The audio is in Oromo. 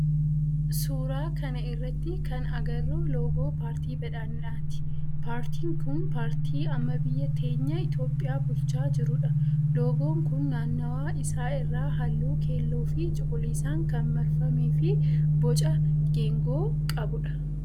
Suuraa kana irratti kan agarru loogoo paartii badhaadhinaati. Paartiin kun paartii amma biyya teenya itiyooohiyaa bulchaa jirudha. Loogoon kun naannawaa isaa irraa halluu keelloo fi cuquliisan kan marfamee fi boca geengoo qabudha.